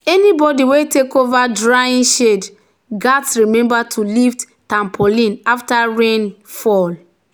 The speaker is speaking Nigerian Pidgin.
"anybody wey take over drying shed gats remember to lift tarpaulin after rain um fall."